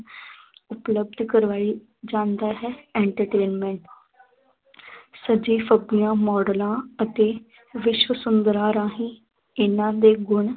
ਉਪਲੱਭਧ ਕਰਵਾਈ ਜਾਂਦਾ ਹੈ entertainment ਸੱਜੀ ਫੱਬੀਆਂ ਮਾਡਲਾਂ ਅਤ ਵਿਸ਼ਵ ਸੁੰਦਰਾ ਰਾਹੀਂ ਇਹਨਾਂ ਦੇ ਗੁਣ